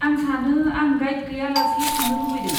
आं सानो आं गाइड गैया लासे थांनो लुबैदों।